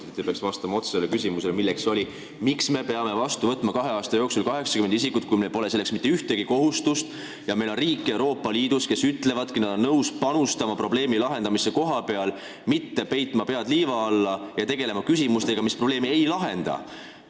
Te oleksite pidanud vastama otsesele küsimusele, miks me peame kahe aasta jooksul vastu võtma 80 isikut, kui meil pole selleks mitte ühtegi kohustust ja kui Euroopa Liidus on riike, kes ütlevad, et nad on nõus panustama probleemi lahendamisse kohapeal, aga nad ei ole nõus peitma pead liiva alla ja tegelema asjadega, mis probleemi ei lahenda.